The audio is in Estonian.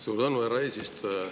Suur tänu, härra eesistuja!